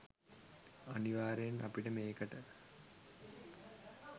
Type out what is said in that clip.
අනිවාර්යයෙන් අපිට මේකට